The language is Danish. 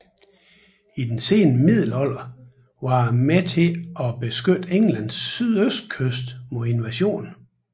I den sene middelalder var det med til at beskytte Englands sydøstkyst mod invasion